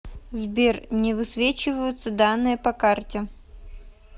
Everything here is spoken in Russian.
сбер не высвечиваются данные по карте